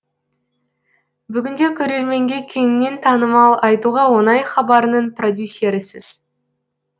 бүгінде көрерменге кеңінен танымал айтуға оңай хабарының продюсерісіз